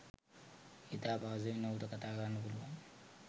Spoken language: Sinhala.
ඉතා පහසුවෙන් ඔහුට කතා කරන්න පුළුවන්.